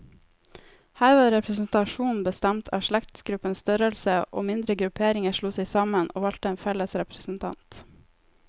Her var representasjonen bestemt av slektsgruppenes størrelse, og mindre grupperinger slo seg sammen, og valgte en felles representant.